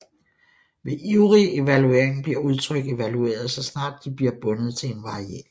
Ved ivrig evaluering bliver udtryk evalueret så snart de bliver bundet til en variabel